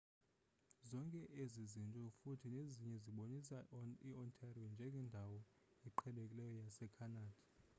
zonke ezi zinto futhi nezinye zibonisa i-ontario njengendawo eqhelekileyo yase-khanada